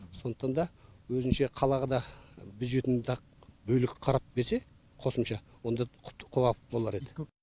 сондықтан да өзінше қалаға да бюджетін бөлек қарап берсе қосымша онда құба құп болар еді